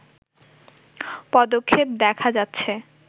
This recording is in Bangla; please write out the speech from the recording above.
পদক্ষেপ দেখা যাচ্ছে